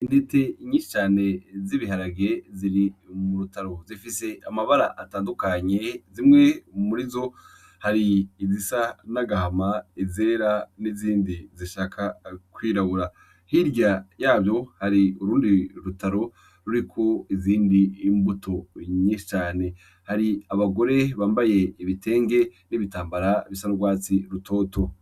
Intete yinshi cane z'ibiharage ziri mu rutaro .Zifise amabara atandukanye zimwe muri zo hari izisa n'agahama ,izera, n'izindi zishaka gushaka kwirabura. Hirya yavyo hari urundi rutaro ruriko izindi mbuto nyinshi cane . Hari abagore bambaye ibitenge n'ibitambara bisa n'urwatsi rutoto.